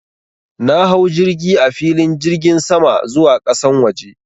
Na hau jirgi a filin jirgin sama zuwa ƙasan waje.